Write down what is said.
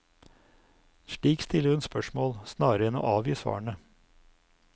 Slik stiller hun spørsmål, snarere enn å avgi svarene.